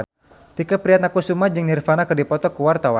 Tike Priatnakusuma jeung Nirvana keur dipoto ku wartawan